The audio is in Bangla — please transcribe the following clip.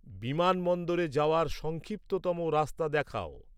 বিমানবন্দরে যাওয়ার সংক্ষিপ্ততম রাস্তা দেখাও